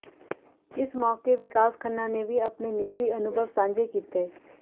ਇਸ ਮੌਕੇ ਵਿਕਾਸ ਖੰਨਾ ਨੇ ਵੀ ਆਪਣੇ ਨਿੱਜੀ ਅਨੁਭਵ ਸਾਂਝੇ ਕੀਤੇ